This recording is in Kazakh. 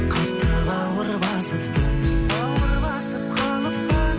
қатты бауыр басыппын бауыр басып қалыппын